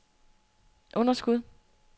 underskud